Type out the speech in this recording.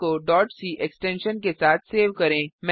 file को c extension के साथ सेव करें